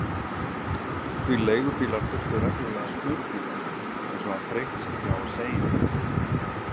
Því leigubílar þurftu reglulega smurningu, eins og hann þreyttist ekki á að segja henni.